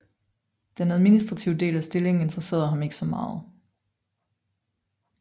Den administrative del af stillingen interesserede ham ikke så meget